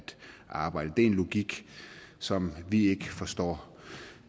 arbejde det er en logik som vi ikke forstår